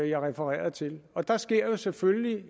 jeg refererede til der sker selvfølgelig